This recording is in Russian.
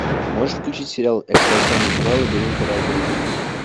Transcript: можешь включить сериал экстрасенс два лабиринты разума